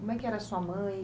Como é que era sua mãe?